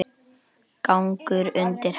Gangur undir hesti.